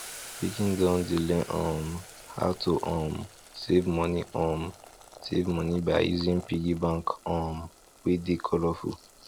pikin don dey learn um how to um save money um save money by using piggy bank um wey dey colorful